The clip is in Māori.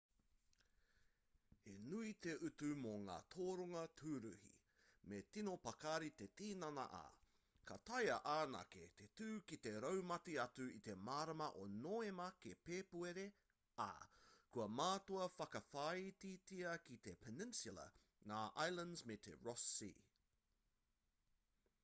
he nui te utu mō ngā toronga tūruhi me tino pakari te tinana ā ka taea anake te tū ki te raumati atu i te marama o nōema ki pēpuere ā kua mātua whakawhāititia ki te peninsula ngā islands me te ross sea